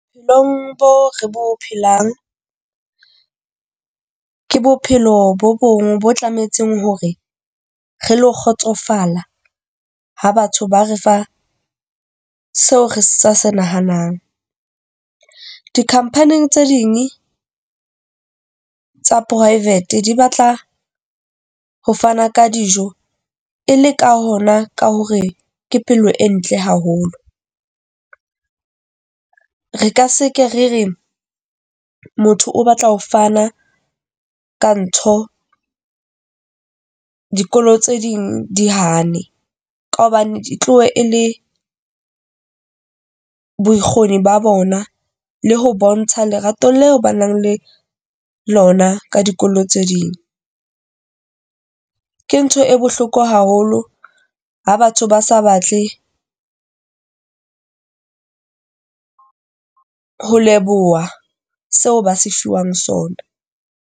Long bo re bo phelang ke bophelo bo bong, bo tlameha etseng hore re lo kgotsofala ha batho ba re fa seo re sa se nahanang. Di-company tse ding tsa private di batla ho fana ka dijo e le ka hona ka hore ke pelo e ntle haholo. Re ka se ke re re motho o batla ho fana ka ntho, dikolo tse ding di hane ka hobane di tlohe e le bokgoni ba bona le ho bontsha lerato leo ba nang le lona ka dikolo tse ding. Ke ntho e bohloko haholo ha batho ba sa batle ho leboha seo ba se fiwang sona.